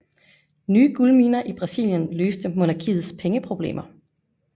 Nye guldminer i Brasilien løste monarkiets pengeproblemer